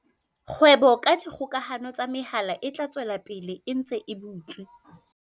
Kgwebo ka dikgokahano tsa mehala e tla tswela pele e ntse e butswe.